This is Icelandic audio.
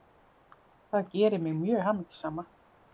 Það gerir mig mjög hamingjusama